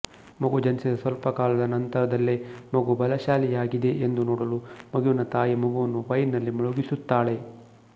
ಮಗು ಜನಿಸಿದ ಸ್ವಲ್ಪ ಕಾಲದ ನಂತರದಲ್ಲೇ ಮಗು ಬಲಶಾಲಿಯಾಗಿದೇ ಎಂದು ನೋಡಲು ಮಗುವಿನ ತಾಯಿ ಮಗುವನ್ನು ವೈನ್ ನಲ್ಲಿ ಮುಳುಗಿಸುತ್ತಾಳೆ